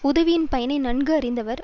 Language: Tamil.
உதவியின் பயனை நன்கு அறிந்தவர்